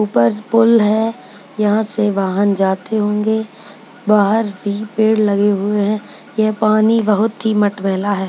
ऊपर पुल है यहाँ से वाहन जाते होंगे बाहर भी पेड़ लगे हुए हैं ये पानी बहुत ही मटमैला है।